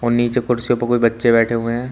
नीचे कुर्सीओं पर कोई बच्चे बैठे हुए हैं।